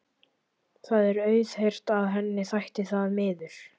Það er auðheyrt að henni þætti það miður.